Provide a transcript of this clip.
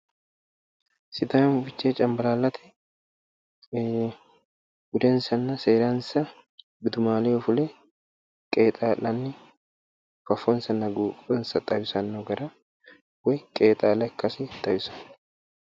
Sidaamu fichee cambalaallate ayyaana korkaata assatenni budensanna seeransa gudumaaleho fule qeexaa'lanni afamannoha leellishanno misileeti